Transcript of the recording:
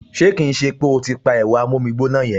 Ṣé kì í ṣe pé o ti pa ẹ̀rọ amómígbóná yẹn!